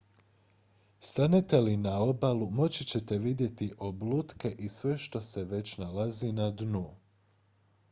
stanete li na obalu moći ćete vidjeti oblutke i sve što se već nalazi na dnu